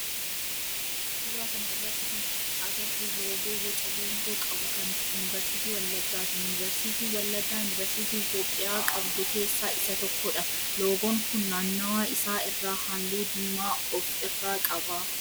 Suuraa kana irratti kan agarru loogoo boca geengoo qabu kan yunivarsiitii wallaggaati. Yunivarsiitiin wallaggaa yunivarsiitii Itiyoophiyaa qabdu keessaa isa tokkodha. Loogoon kun naannawa isaa irraa halluu diimaa of irraa qaba.